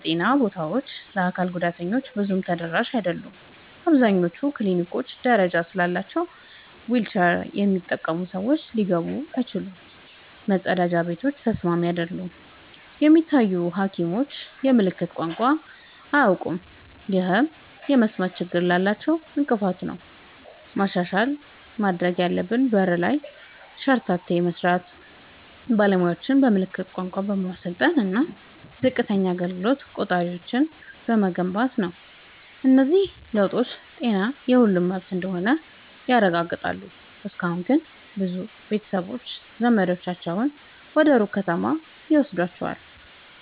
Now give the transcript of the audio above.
የጤና ቦታዎች ለአካል ጉዳተኞች ብዙም ተደራሽ አይደሉም። አብዛኞቹ ክሊኒኮች ደረጃ ስላላቸው ዊልቸር የሚጠቀሙ ሰዎች ሊገቡ አይችሉም፤ መጸዳጃ ቤቶችም ተስማሚ አይደሉም። የሚታዩ ሐኪሞችም የምልክት ቋንቋ አያውቁም፣ ይህም የመስማት ችግር ላላቸው እንቅፋት ነው። ማሻሻያ ማድረግ ያለብን በር ላይ ሸርተቴ በመስራት፣ ባለሙያዎችን በምልክት ቋንቋ በማሰልጠን እና ዝቅተኛ አገልግሎት ቆጣሪዎችን በመገንባት ነው። እነዚህ ለውጦች ጤና የሁሉም መብት እንደሆነ ያረጋግጣሉ። እስካሁን ግን ብዙ ቤተሰቦች ዘመዳቸውን ወደ ሩቅ ከተማ ይወስዷቸዋል።